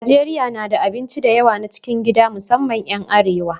Najeriya na da abinci da yawa na cikin gida musamman 'yan arewa.